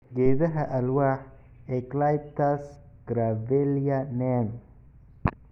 "Geedaha alwaax- eucalyptus, gravellia, neem"